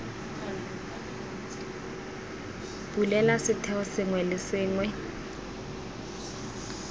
bulela setheo sengwe le sengwe